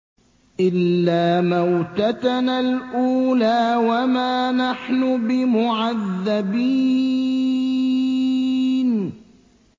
إِلَّا مَوْتَتَنَا الْأُولَىٰ وَمَا نَحْنُ بِمُعَذَّبِينَ